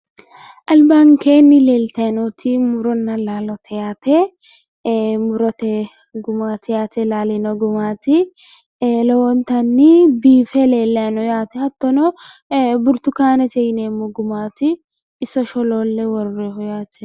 albankeenni leeltayi nooti muronna laalote yaate ee murote gumaati yaate laalino gumaati ee lowontanni biife leellanni no yaate hattono burtukaanete yineemmo gumaati iso sholoolle worroonniho yaate.